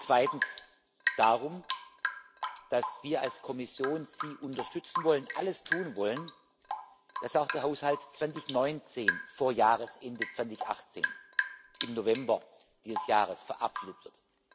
Zweitens geht es darum, dass wir als Kommission Sie unterstützen wollen, alles tun wollen, dass auch der Haushalt 2019 vor Jahresende 2018, im November dieses Jahres, verabschiedet wird.